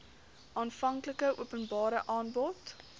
aanvanklike openbare aanbod